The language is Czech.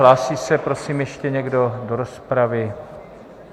Hlásí se prosím ještě někdo do rozpravy?